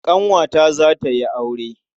Ƙanwata za ta yi aure.